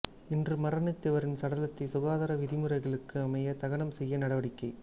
இன்று மரணித்தவரின் சடலத்தை சுகாதார விதிமுறைகளுக்கு அமைய தகனம் செய்ய நடவடிக்கை